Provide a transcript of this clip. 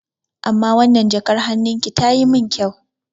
Amma wannan jakar hannun ki tayi mun kyau.